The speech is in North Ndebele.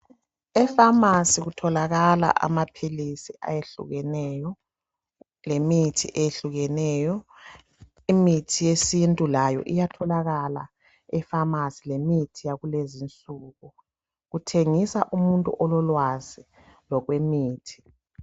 Efamasi kutholakala amaphilisi lemithi eyehlukeneyo. Imithi yesintu layo iyatholakala efamasi lemithi yakulezi insuku. Kuthengisa umuntu ololwazi lokwemithi.